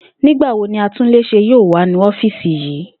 Nígba wo ni atúnlés̩é yóò wá nu ó̩fíìsì yìí?